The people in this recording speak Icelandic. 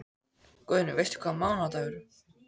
Guðný: Veistu hvaða mánaðardagur?